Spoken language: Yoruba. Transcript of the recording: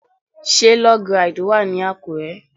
Ṣé Log ride wà ní Àkúrẹ́?